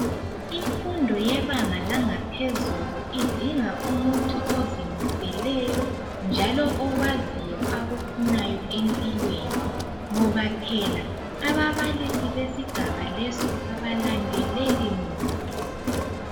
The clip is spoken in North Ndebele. Imfundo yebanga langaphezulu idinga umuntu ozimseleyo njalo okwaziyo akufunayo emilweni ngoba phela ababalisi besigaba leso abalandeleli muntu.